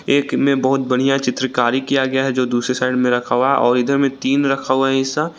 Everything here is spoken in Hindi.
एक में बहुत बढ़िया चित्रकारी किया गया हैं जो दूसरे साईड में रखा हुआ हैं और इधर में तीन रखा हुआ हैं ऐसा।